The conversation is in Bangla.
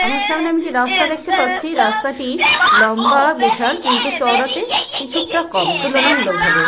আমার সামনে আমি একটি রাস্তা দেখতে পাচ্ছি রাস্তাটি লম্বা বিশাল কিন্তু চওড়াতে কিছুকটা কম তুলনামূলক ভাবে।